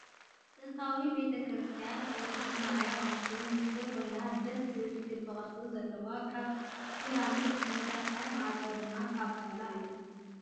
ጥንታዊት ቤተክርስትያን ቅድስት ማርያም ኣክሱም ምስሊ ኮይና ደስ ዝብል ክቢ ቅርፂ ዘለዋ ካብ ሲራሚክ ዝተሰርሐት ማዕፆኣ ድማ ካብ ጣውላ እዩ።